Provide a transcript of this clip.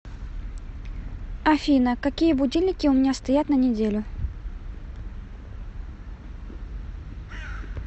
афина какие будильники у меня стоят на неделю